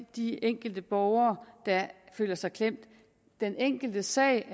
de enkelte borgere der føler sig klemt den enkeltes sag